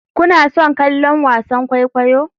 Kuna son kallon wasan kwaikwayo?